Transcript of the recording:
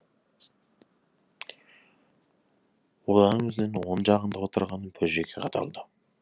одан өзінің оң жағында отырған бөжейге қадалды